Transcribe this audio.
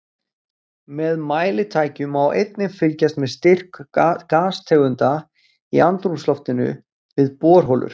Með mælitækjum má einnig fylgjast með styrk gastegunda í andrúmsloftinu við borholur.